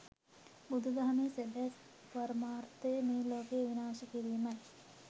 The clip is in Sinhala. බුදු දහමේ සැබෑ පරමර්ථය මේ ලෝකය විනාශ කිරීමයි.